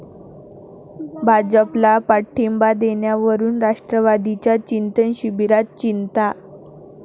भाजपला पाठिंबा देण्यावरून राष्ट्रवादीच्या चिंतन शिबिरात चिंता